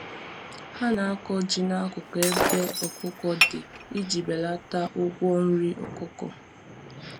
Ha na-akọ ji n'akụkụ ebe ọkụkọ dị iji belata ụgwọ nri ọkụkọ.